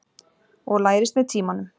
Og lærist með tímanum.